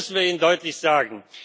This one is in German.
Das müssen wir ihnen deutlich sagen.